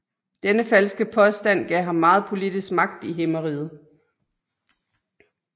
Denne falske påstand gav ham meget politisk magt i Himmeriget